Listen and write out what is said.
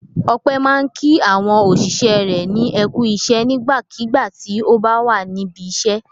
Ọpẹ́ máa ń kí àwọn òṣìṣẹ́ rẹ̀ ní "ẹ kú iṣẹ́" nígbàkigbà tí ó bá wà níbi iṣẹ́.